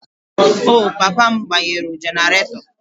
Oh, papa m gbanyụrụ generator